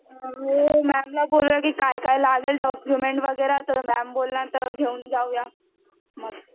मॅमला बोलूया की काय काय लागेल डॉक्युमेंट वैगरा तर मॅम बोलणार तर घेऊन जाऊया मग